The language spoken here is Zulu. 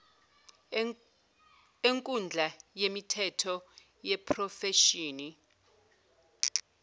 enkundla yemithetho yeprofeshini